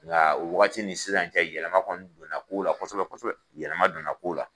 Nga o wagati ni sisan cɛ yɛlɛma kɔni don na ko la kosɛbɛ kosɛbɛ yɛlɛma don na ko la.